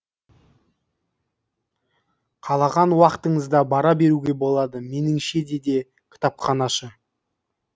қалаған уақытыңызда бара беруге болады меніңше деді кітапханашы